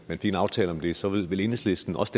fik en aftale om det så ville enhedslisten også